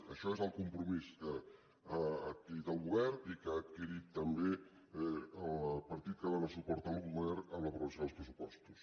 això és el compromís que ha adquirit el govern i que ha adquirit també el partit que dóna suport al govern amb l’aprovació dels pressupostos